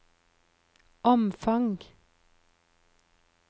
omfang